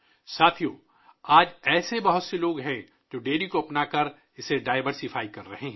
ساتھیو ، آج بہت سے لوگ ایسے ہیں ، جو ڈیری کو اپنا کر ، اس میں تنوع پیدا کر رہے ہیں